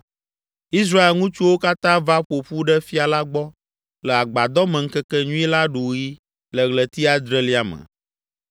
Israel ŋutsuwo katã va ƒo ƒu ɖe fia la gbɔ le Agbadɔmeŋkekenyui la ɖuɣi le ɣleti adrelia me.